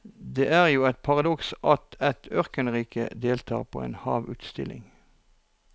Det er jo et paradoks at et ørkenrike deltar på en havsutstilling.